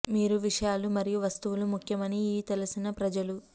మీరు విషయాలు మరియు వస్తువులు ముఖ్యం అని ఈ తెలిసిన ప్రజలు